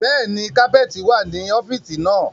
Bẹ́ẹ̀ni, kapẹ́ẹ́tì wá ní ọ́fíìsì náà.